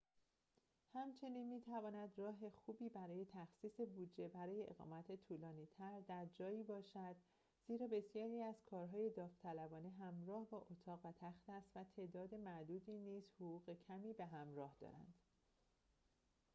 همچنین می‌تواند راه خوبی برای تخصیص بودجه برای اقامت طولانی‌تر در جایی باشد زیرا بسیاری از کارهای داوطلبانه همراه با اتاق و تخت است و تعداد معدودی نیز حقوق کمی به همراه دارند